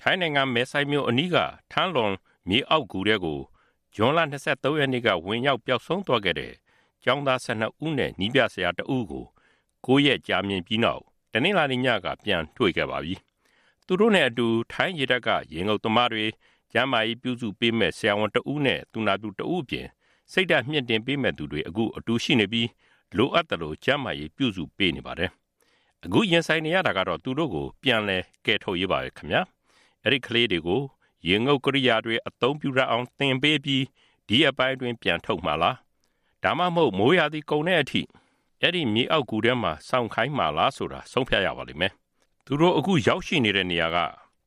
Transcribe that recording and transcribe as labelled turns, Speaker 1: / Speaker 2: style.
Speaker 1: ထိုင်းနိုင်ငံ မယ်ဆိုင်မြို့အနီးက ထမ်းလွမ် (Tham Luang) မြေအောက်ဂူထဲကို ဇွန် ၂၃ ရက်နေ့က ဝင်ရောက်ပျောက်ဆုံးသွားခဲ့တဲ့ဲ့ ကျောင်းသား ၁၂ ဦးနဲ့ နည်းပြဆရာ ၁ ဦးကို ၉ ရက်ကြာမြင့်ပြီးနောက် တနင်္လာနေ့ညက ပြန်တွေ့ခဲ့ပါပြီ။ သူတို့နဲ့အတူ ထိုင်းရေတပ်က ရေငုပ်သမားတွေ၊ ကျန်းမာရေးပြုစုပေးမယ့် ဆရာဝန်တဦးနဲ့ သူနာပြုတဦးအပြင် စိတ်ဓါတ်မြှင့်တင်ပေးမယ့်သူတွေ အတူရှိနေပြီး လိုအပ်သလို ကျန်းမာရေး ပြုစုပေးနေပါတယ်။ အခု ရင်ဆိုင်နေရတာကတော့ သူတို့ကို ပြန်လည်ကယ်ထုတ်ရေးပါပဲ။ အဲဒီ ကလေးတွေကို ရေငုတ်ကရိယာတွေ အသုံးပြုတတ်အောင်သင်ပေးပြီး ဒီရက်ပိုင်းအတွင်း ပြန်ထုတ်မှာလား ဒါမှမဟုတ် မိုးရာသီကုန်တဲ့အထိ အဲဒီ မြေအောက်ဂူထဲမှာ စောင့်ခိုင်းမှာလားဆိုတာ ဆုံးဖြတ်ရပါလိမ့်မယ်။ သူတို့အခုရောက်ရှိနေတဲ့ နေရာက